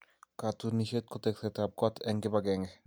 Katunisyet ko tekseetab koot eng kibagenge.